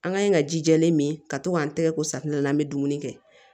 An ka ɲi ka ji jɛlen min ka to k'an tɛgɛ ko safinɛ la an bɛ dumuni kɛ